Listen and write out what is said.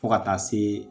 Fo ka taa se